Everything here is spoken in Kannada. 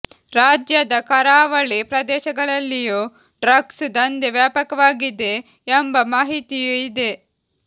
ರಾಜ್ಯದ ಕರಾವಳಿ ಪ್ರದೇಶಗಳಲ್ಲಿಯೂ ಡ್ರಗ್ಸ್ ದಂಧೆ ವ್ಯಾಪಕವಾಗಿದೆ ಎಂಬ ಮಾಹಿತಿಯೂ ಇದೆ